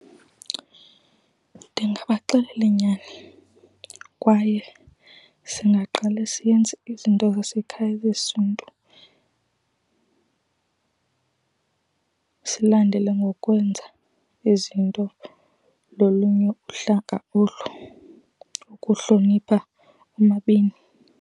Ndingabaxelela inyani. Kwaye singaqala siyenze izinto zasekhaya zesiNtu, silandele ngokwenza izinto lolunye uhlanga olu, ukuhlonipha omabini.